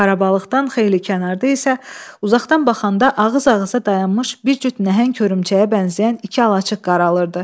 Xarabalığdan xeyli kənarda isə uzaqdan baxanda ağız-ağıza dayanmış bir cüt nəhəng hörümçəyə bənzəyən iki alaçıq qaralırdı.